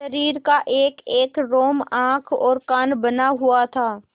शरीर का एकएक रोम आँख और कान बना हुआ था